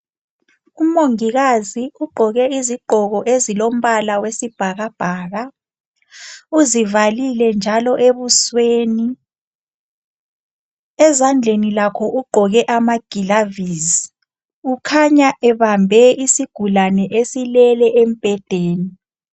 Umongikazi ugqoke izigqoko ezilombala wesibhakabhaka. Uzivalile njalo ebusweni, ezandleni lakho ugqoke amagilavisi ukhanya ebambe isigulane esilele embhedeni.